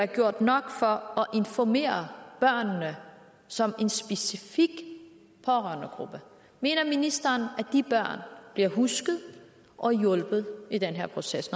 gjort nok for at informere børnene som en specifik pårørendegruppe mener ministeren at de børn bliver husket og hjulpet i den her proces